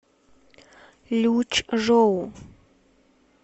лючжоу